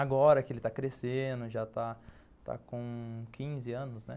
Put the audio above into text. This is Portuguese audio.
Agora que ele está crescendo, já está com quinze anos, né?